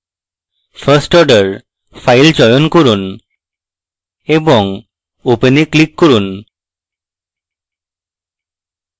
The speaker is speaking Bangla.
firstorder file চয়ন করুন এবং open এ click করুন